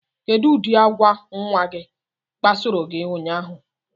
Kedụ ụdị agwa nnwa gị kpasoro gị ụnyaahụ?